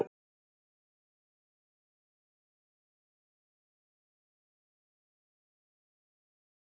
Helga María: Og þú ferð allar þínar ferðar líka á hjóli?